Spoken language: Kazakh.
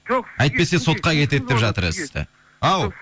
жоқ әйтпесе сотқа кетеді деп жатыр сізді ау